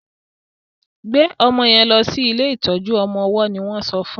gbe ọmọ yen lò sí ilé ìtọjú ọmọ ọwó ní won sọ fún.